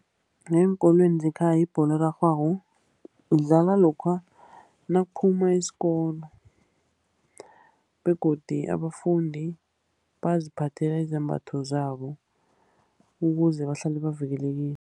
Ngeenkolweni zekhaya ibholo erarhwako idlalwa lokha nakuphuma isikolo, begodu abafundi baziphathele izembatho zabo, ukuze bahlale bavikelekile.